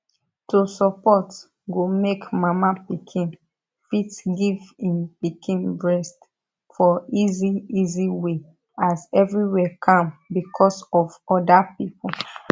to support go make mama pikin fit give im pikin breast for easy easy way as everywhere calm because of other people